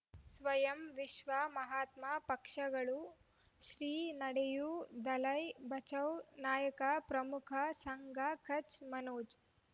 ಸ್ವಯಂ ವಿಶ್ವ ಮಹಾತ್ಮ ಪಕ್ಷಗಳು ಶ್ರೀ ನಡೆಯೂ ದಲೈ ಬಚೌ ನಾಯಕ ಪ್ರಮುಖ ಸಂಘ ಕಚ್ ಮನೋಜ್